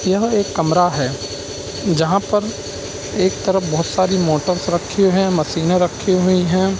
यह एक कमरा हैं। जहाँ पर एक तरफ बहुत सारी मोटर्स रखी हैं। मशीनें रखी हुई हैं।